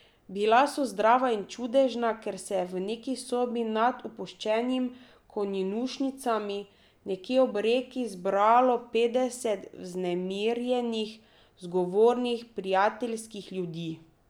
Bila so zdrava in čudežna, ker se je v neki sobi, nad opuščenimi konjušnicami, nekje ob reki, zbralo petdeset vznemirjenih, zgovornih, prijateljskih ljudi.